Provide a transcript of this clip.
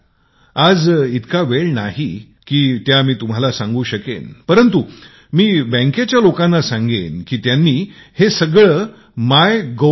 आज इतका वेळ नाही की परंतु मी बँकेच्या लोकांना सांगेन की माय Gov